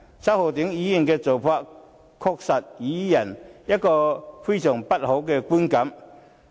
周浩鼎議員的做法，確實予人非常不好的觀感。